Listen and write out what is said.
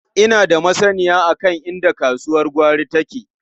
Ina da masanniya kan inda kasuwar gwari take.